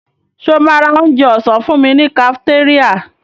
Ṣo ma ra onjẹ ọ̀sán fúnmi ní kafitéríà?